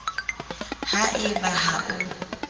ha e ba ha o